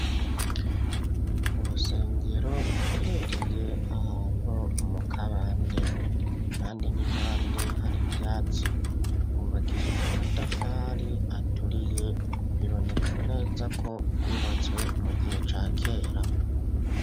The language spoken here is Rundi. Mu rusengero ruherereye ahantu mu kabande, impande n'impande hari ivyatsi, rwubakishije amatafari aturiye, biboneka neza ko rwubatswe mu gihe ca kera.